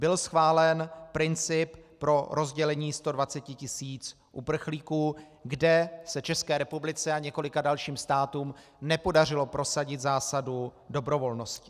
Byl schválen princip pro rozdělení 120 tisíc uprchlíků, kde se České republice a několika dalším státům nepodařilo prosadit zásadu dobrovolnosti.